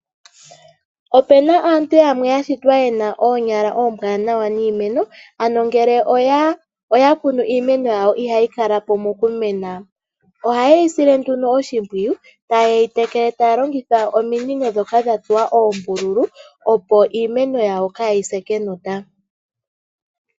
Opena aantu yamwe ya shitwa yena oonyala oombwanawa niimeno, ano ngele oya kunu iimeno yawo ihayi kala po mokumena. Ohaye yi sile nduno oshimpwiyu taye yi tekele taya longitha ominino dhoka dha tsuwa oombululu opo iimeno yawo kaa yi se kenota.